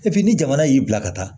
Epi ni jamana y'i bila ka taa